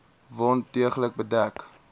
wond deeglik bedek